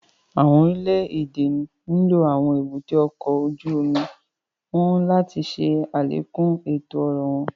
Awọn orile-ede nlo awọn èbúté ọkọ ojú omi wọn láti ṣe alekun eto-ọrọ wọn